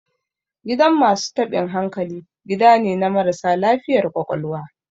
Gidan masu taɓin hankali, gida ne na marasa lafiyar ƙwaƙwalwa.